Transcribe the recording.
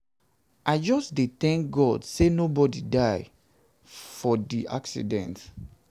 i just dey tank god sey nobodi die for di accident.